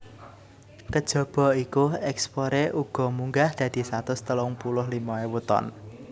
Kejaba iku ekspore uga munggah dadi satus telung puluh limo ewu ton